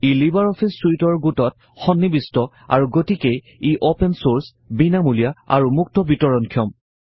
ই LibreOffice চুইটৰ গোটত সন্নিবিষ্ট আৰু গতিকেই ই অপেন চৰ্ছ বিনামূলীয়া আৰু মুক্ত বিতৰণ ক্ষম